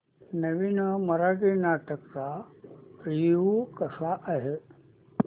नवीन मराठी नाटक चा रिव्यू कसा आहे